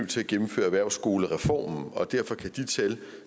til at gennemføre erhvervsskolereformen og derfor kan de tal